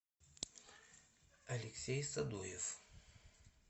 алексей садоев